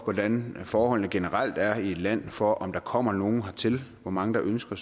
hvordan forholdene generelt er i et land altså for om der kommer nogen hertil hvor mange der ønsker